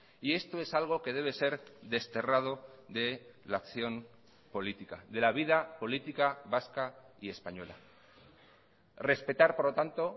y esto es algo que debe ser desterrado de la acción política de la vida política vasca y española respetar por lo tanto